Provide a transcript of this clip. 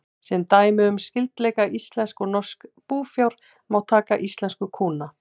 Sem dæmi um skyldleika íslensks og norsks búfjár má taka íslensku kúna.